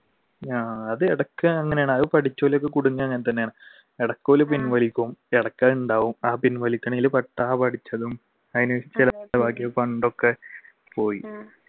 ആഹ് അത് ഇടക്ക് അങ്ങനെയാണ് അത് പഠിച്ചവർ ഒക്കെ ഇടക്ക് ഓർ പിൻവലിക്കും ഇടക്ക് അത് ഉണ്ടാവും പോയി